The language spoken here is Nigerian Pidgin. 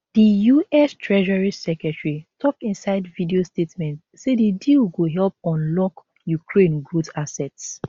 di us treasury secretary tok inside video statement say di deal go help unlock ukraine growth assets